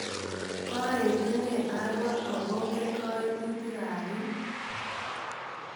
Koetune Arua akongen kaimutik ap piik.